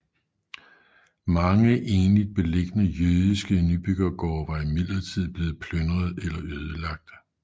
Mange enligt beliggende jødiske nybyggergårde var imidlertid blevet plyndrede eller ødelagte